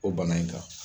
O bana in kan